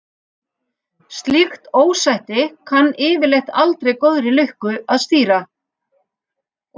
Slíkt ósætti kann yfirleitt aldrei góðri lukka að stýra.